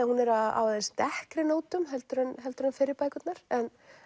hún er á aðeins dekkri nótum heldur en heldur en fyrri bækurnar en